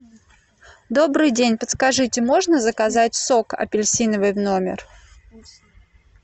добрый день подскажите можно заказать сок апельсиновый в номер